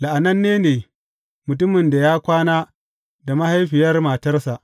La’ananne ne mutumin da ya kwana da mahaifiyar matarsa.